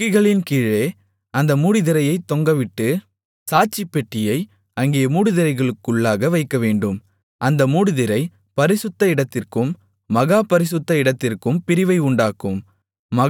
கொக்கிகளின்கீழே அந்த மூடுதிரையைத் தொங்கவிட்டு சாட்சிப்பெட்டியை அங்கே மூடுதிரைக்குள்ளாக வைக்கவேண்டும் அந்த மூடுதிரை பரிசுத்த இடத்திற்கும் மகா பரிசுத்த இடத்திற்கும் பிரிவை உண்டாக்கும்